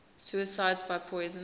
suicides by poison